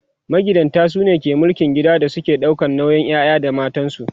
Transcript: magidanta sune ke mulkin gida su suke ɗaukan nauyin ƴaƴa da matansu